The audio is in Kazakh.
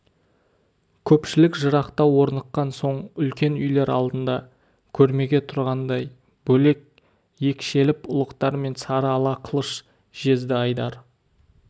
көпшілік жырақтау орныққан соң үлкен үйлер алдында көрмеге тұрғандай бөлек екшеліп ұлықтар мен сары ала қылыш жезді айдар